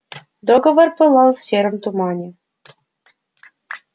договор пылал в сером тумане